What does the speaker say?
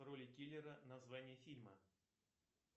роли киллера название фильма